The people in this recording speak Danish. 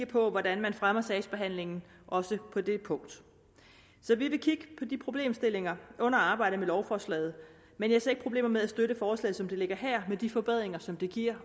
på hvordan man fremmer sagsbehandlingen også på det punkt så vi vil kigge på de problemstillinger under arbejdet med lovforslaget men jeg ser ikke problemer med at støtte forslaget som det ligger her med de forbedringer som det giver